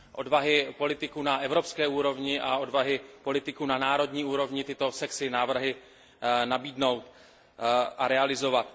Odvahy politiků na evropské úrovni a odvahy politiků na národní úrovni tyto sexy návrhy nabídnout a realizovat.